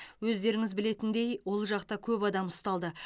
өздеріңіз білетіндей ол жақта көп адам ұсталды